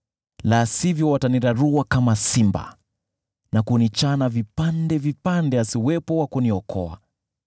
la sivyo watanirarua kama simba na kunichana vipande vipande, asiwepo wa kuniokoa.